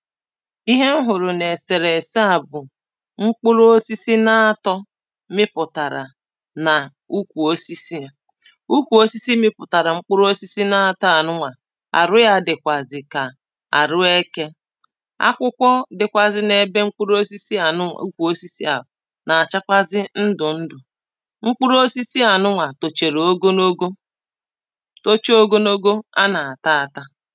Ihe m hụrụ na eserese à bụ mkpụrụ osisi na atọ mịpụtara na ukwu osisi yà ukwu osisi mịpụtara mkpụrụ osisi na atọ a nụ nwa arụ ya dịkwazị ka arụ eke akwụkwọ dịkwazị na ebe mkpụrụ osisi nụ nwa, ukwu osisi à na-achakwazị ndụ ndụ mkpụrụ osisi nụ nwa tochara ogologo tocha ogonogo a na-ata ata